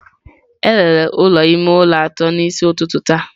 A rere ụlọ ime ụlọ atọ n'isi ụtụtụ taa